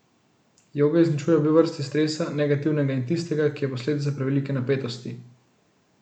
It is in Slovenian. Joga izničuje obe vrsti stresa, negativnega in tistega, ki je posledica prevelike napetosti.